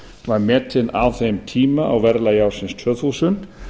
var metinn á þeim tíma á verðlagi ársins tvö þúsund